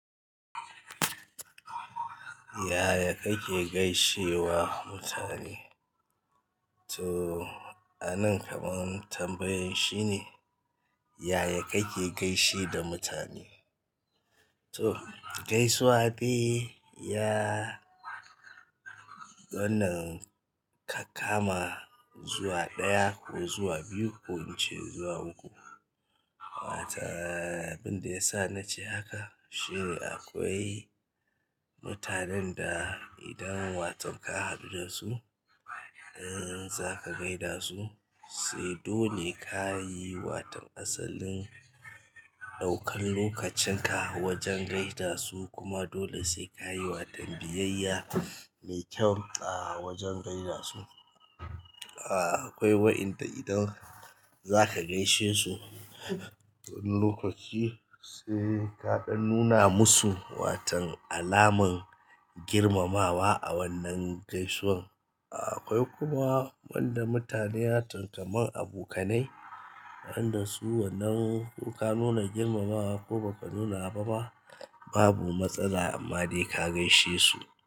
Yaya kake gaishe wa mutane? So a nan kaman tambayan shine yaya kake gaisar da mutane to, gaisuwa dai ya wannan ka kama zuwa ɗaya ko zuwa biyu ko ince zuwa uku. Wataaa abin da ya sa na ce haka shine akwai mutanen da idan wato ka haɗu da su, in zaka gaida su sai dole ka yi waton asalin ɗaukan lokacin ka wajen gaida su kuma dole sai ka yi watan biyayya mai kyau a wajen gaida su. Aaa, akwai wa'inda idan zaka gaishe su lokaci sai ka ɗan nuna musu watan alaman girmamawa a wannan gaisuwan. Akwai kuma wanda mutane watan kaman abokanai, wanda su wannan ko ka nuna girmamawa ko ba ka nuna ba ma babu matsala amma dai ka gaishe su.